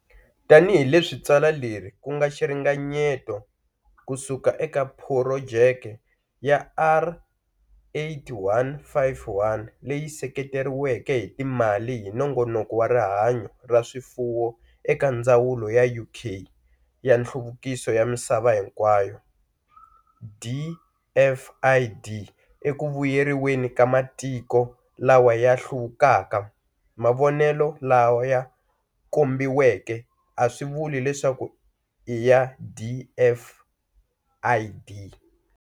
Tanihi leswi tsalwa leri ku nga xiringanyeto ku suka eka Phurojeke ya R8151 leyi sekeretiweke hi timali hi Nongonoko wa Rihanyo ra Swifuwo eka Ndzawulo ya UK ya Nhluvukiso ya Misava hinkwayo, DFID, eku vuyeriweni ka matiko lawa ya ha hluvukaka, mavonelo laya kombiweke a swi vuli leswaku i ya DFID.